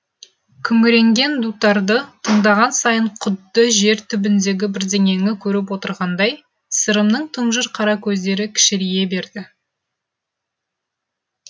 күңіренген дутарды тыңдаған сайын құдды жер түбіндегі бірдеңені көріп отырғандай сырымның тұнжыр қара көздері кішірейе берді